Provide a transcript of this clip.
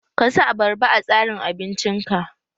Ka sa abarba a tsarin abinci ka!